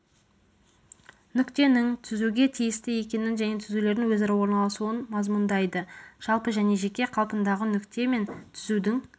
нүктенің түзуге тиісті екенін және түзулердің өзара орналасуын мазмұндайды жалпы және жеке қалпындағы нүкте мен түзудің